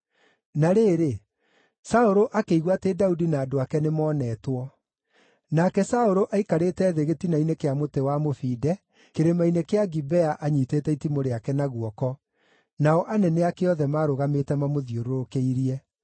Na rĩrĩ, Saũlũ akĩigua atĩ Daudi na andũ ake nĩmonetwo. Nake Saũlũ aikarĩte thĩ gĩtina-inĩ kĩa mũtĩ wa mũbinde Kĩrĩma-inĩ kĩa Gibea anyiitĩte itimũ rĩake na guoko, nao anene ake othe marũgamĩte mamũthiũrũrũkĩirie.